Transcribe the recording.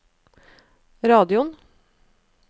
radioen